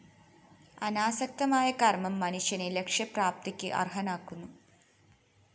അനാസക്തമായ കര്‍മ്മം മനുഷ്യനെ ലക്ഷ്യപ്രാപ്തിക്ക് അര്‍ഹനാക്കുന്നു